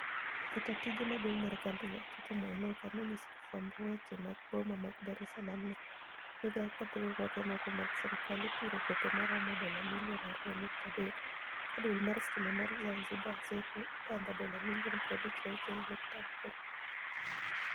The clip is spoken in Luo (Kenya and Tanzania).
Jataa tije maduong' mar kambi no, Tito Mwinuka, no nyiso jofwamb weche mag boma mar Dar es Salaam ni, migao kod riwruoge moko marg sirkal ipiro gope maromo dola milioni 2.3 ka duol mar sitima mar Zanzibar (Zeco) ibandho dola milioni 56.8.